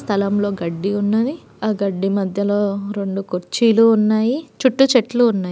స్థలంలో గడ్డి ఉన్నది ఆ గడ్డి మధ్యలో రెండు కుర్చీలు ఉన్నాయి చుట్టూ చెట్లు ఉన్నాయి.